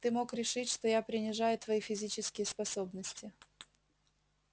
ты мог решить что я принижаю твои физические способности